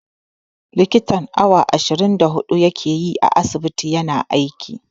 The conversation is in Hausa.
Likitan awa ashirin da huɗu ya ke yi a asibiti ya na aiki.